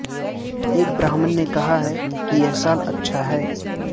ایک برہمن نے کہا ہے کہ یہ سال اچھا ہے